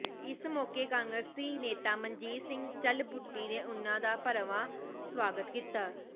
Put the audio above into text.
ਇਸ ਮੌਕੇ ਕਾਂਗਰਸੀ ਨੇਤਾ ਮਨਜੀਤ ਸਿੰਘ ਝਲਬੂਟੀ ਨੇ ਉਨਾਂ ਦਾ ਭਰਵਾਂ ਸਵਾਗਤ ਕੀਤਾ